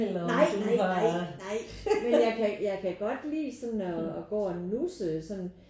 Nej nej nej. Nej men jeg kan jeg kan godt lide sådan at gå og nusse sådan